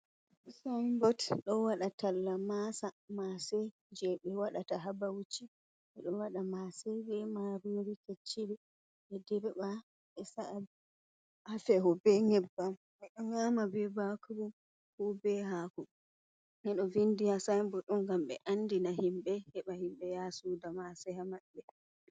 Sainbot ɗo waɗa talla maasa. Maase je ɓe waɗata haa Bauchi. Ɓe ɗo waɗa maase be maarori kecciri. Ɓe dirɓa ɓe sa'a haa feho be ŋƴebbam. Ɓe ɗo nƴaama bee baakuru ko bee haako. Ɓe ɗo vindi ha sainbot ɗo ngam ɓe andina himɓe heɓa himɓe yaha sooda maasa haa maɓɓe.